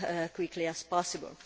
quickly as possible.